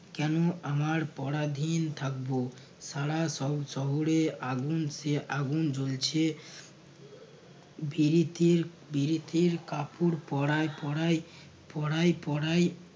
কেন আমার পরাধীন থাকব সারা শহ~ শহরে আগুন সে আগুন জ্বলছে বিরিতির বিরিতির কাপোড় পড়ায় পড়াই পড়াই পড়াই